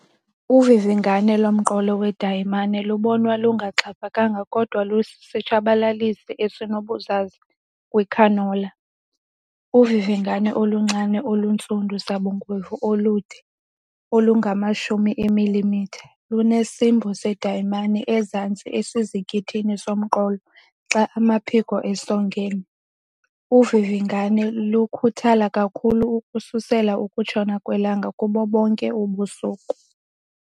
Uvivingane lomqolo wedayimani lubonwa lungaxhaphakanga kodwa lusisitshabalalisi esinobuzaza kwicanola. Uvivingane oluncinane oluntsundu sabungwevu, olungama-10 mm, lunesimbo sedayimani ezantsi esizikithini somqolo xa amaphiko esongene. Uvivingane lukhuthala kakhulu ukususela ukutshona kwelanga kubo bonke ubusuku.